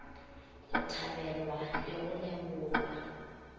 go thabelwa le go lebogwa